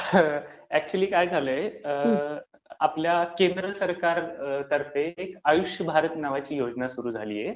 अच्युअली, काय झालंय, आपल्या केंद्र सरकार तर्फे एक आयुष्य भारत नावाची योजना सुरु झालीये.